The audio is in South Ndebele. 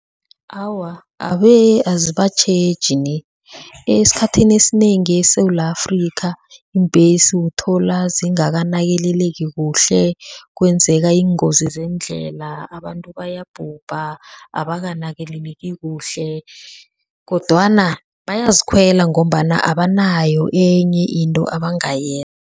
Awa, abe azibatjheji ni esikhathini esinengi eSewula Afrika iimbhesi uthola zingakanakekeleki kuhle, kwenzeka iingozi zeendlela, abantu bayabhubha, abakanakekeleki kuhle kodwana bayazikhwela ngombana abanayo enye into